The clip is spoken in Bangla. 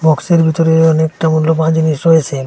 বক্সের ভেতরে অনেকটা মূল্যবান জিনিস রয়েছেন ।